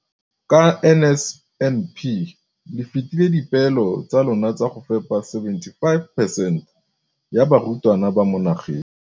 Ka NSNP le fetile dipeelo tsa lona tsa go fepa 75 percent ya barutwana ba mo nageng.